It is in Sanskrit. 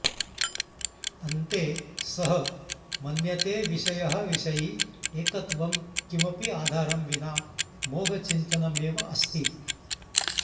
अन्ते सः मन्यते विषयः विषयी एकत्वं किमपि आधारं विना मोघचिन्तनमेव अस्ति